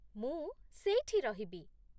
ମୁଁ ସେଇଠି ରହିବି ।